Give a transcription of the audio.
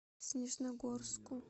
снежногорску